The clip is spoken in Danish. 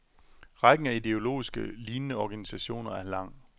Rækken af ideologisk lignende organisationer er lang.